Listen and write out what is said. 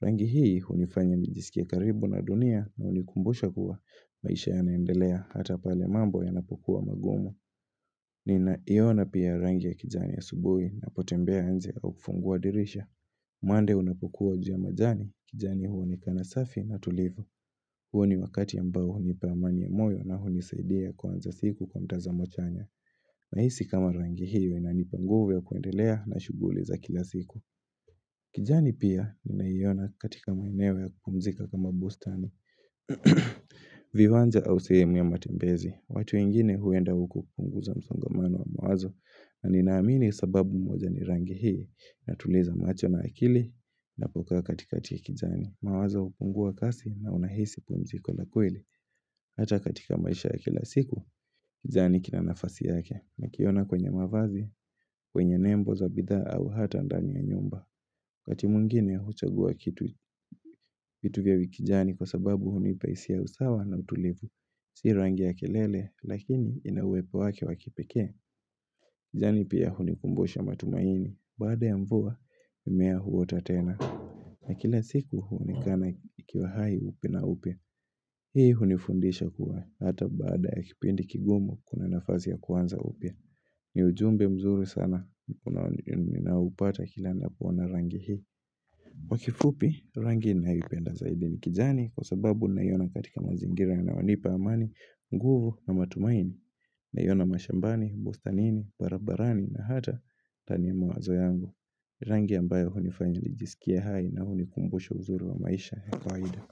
Rangi hii hunifanya nijisikie karibu na dunia na hunikumbusha kuwa maisha yanaendelea hata pale mambo yanapokuwa magumu Ninaiona pia rangi ya kijani asubuhi ninapotembea nje au kufungua dirisha umande unapokuwa uji wa majani, kijani huonekana safi na tulivu huo ni wakati ambao hunipa amani ya moyo na hunisaidia kuanza siku kwa mtazamo chanya Nahisi kama rangi hiyo inanipa nguvu ya kuendelea na shughuli za kila siku kijani pia unaiona katika maeneo ya kupumzika kama bustani viwanja au sehemu ya matembezi watu wengine huenda huku kupunguza msongamano wa mawazo na ninaamini sababu moja ni rangi hii inatuliza macho na akili ninapokaa katikati ya kijani mawazo hupungua kasi na unahisi pumziko la kweli. Hata katika maisha ya kila siku, kijani kina nafasi yake nikiona kwenye mavazi, kwenye nembo za bidhaa au hata ndani ya nyumba. Wakati mwingine huchagua vitu vya vikijani kwa sababu hunipa hisia ya usawa na utulivu. Si rangi ya kelele, lakini inauwepo wake wakipekee kijani pia hunikumbusha matumaini. Baada ya mvua, mimea huota tena. Na kila siku huonekana ikiwa hai upya na upya. Hii hunifundisha kuwa hata baada ya kipindi kigumu kuna nafasi ya kuanza upya ni ujumbe mzuri sana ninaoupata kila ninapoana rangi hii kwa kifupi rangi ninayoipenda zaidi ni kijani kwa sababu ninaiona katika mazingira yanayanipa amani, nguvu na matumaini naiona mashambani, bustanini, barabarani na hata ndani ya mawazo yangu Rangi ambayo hunifanya nijisikie hai na hunikumbusha uzuri wa maisha ya kawaida.